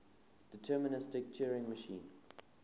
deterministic turing machine